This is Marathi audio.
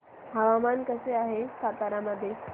हवामान कसे आहे सातारा मध्ये